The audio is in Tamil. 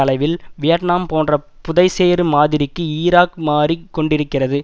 அளவில் வியட்நாம் போன்ற புதைசேறு மாதிரிக்கு ஈராக் மாறி கொண்டிருக்கிறது